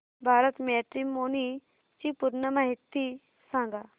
Bharat matrimony ची पूर्ण माहिती सांगा